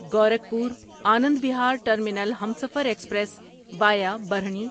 Gorakhpur Anand Vihar terminal Humsafar express via Barhni